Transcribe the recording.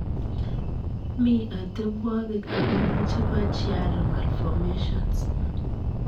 Mi atebwagik angwanu chepo chiari malfomations .